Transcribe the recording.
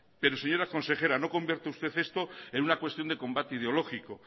pero señora consejera no convierta usted esto en una cuestión de combate ideológico